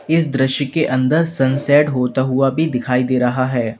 इस दृश्य के अंदर सनसेट होता हुआ भी दिखाई दे रहा है।